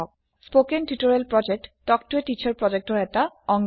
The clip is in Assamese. কথন শিক্ষণ প্ৰকল্প তাল্ক ত a টিচাৰ প্ৰকল্পৰ এটা অংগ